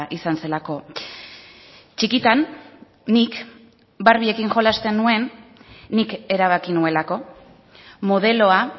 izan zelako txikitan nik barbiekin jolasten nuen nik erabaki nuelako modeloa